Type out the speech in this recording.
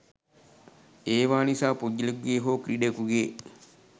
ඒවා නිසා පුද්ගලයකුගේ හෝ ක්‍රීඩකයකුගේ